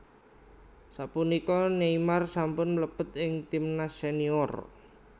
Sapunika Neymar sampun mlebet ing timnas senior